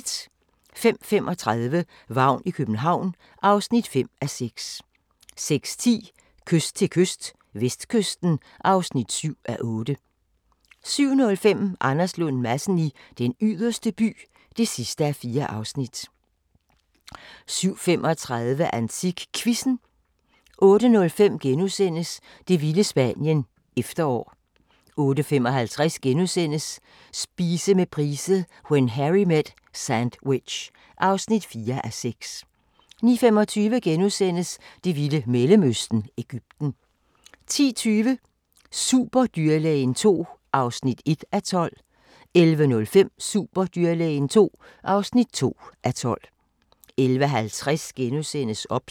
05:35: Vagn i København (5:6) 06:10: Kyst til kyst - vestkysten (7:8) 07:05: Anders Lund Madsen i Den Yderste By (4:4) 07:35: AntikQuizzen 08:05: Det vilde Spanien - efterår * 08:55: Spise med Price – When Harry met sandwich (4:6)* 09:25: Det vilde Mellemøsten – Egypten * 10:20: Superdyrlægen II (1:12) 11:05: Superdyrlægen II (2:12) 11:50: OBS *